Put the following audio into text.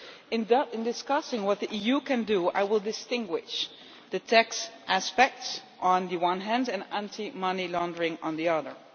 In discussing what the EU can do, I will distinguish between the tax aspects on the one hand and anti money laundering on the other.